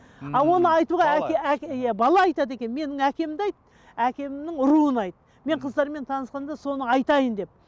ал оны айтуға иә бала айтады екен менің әкемді айт әкемнің руын айт мен қыздармен танысқанда соны айтайын деп